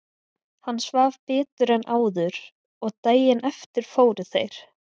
Hann svaf betur en áður og daginn eftir fóru þeir